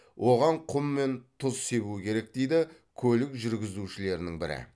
оған құм мен тұз себу керек дейді көлік жүргізушілерінін бірі